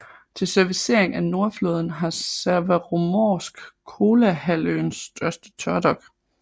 Til servicering af Nordflåden har Severomorsk Kolahalvøens største tørdok